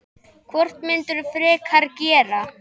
Hvort myndirðu frekar gera?